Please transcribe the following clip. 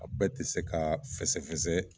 A bɛɛ ti se ka fɛsɛfɛsɛ